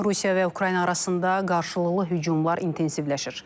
Rusiya və Ukrayna arasında qarşılıqlı hücumlar intensivləşir.